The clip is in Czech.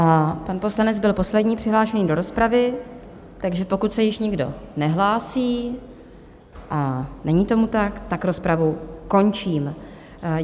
A pan poslanec byl poslední přihlášený do rozpravy, takže pokud se již nikdo nehlásí - a není tomu tak - tak rozpravu končím.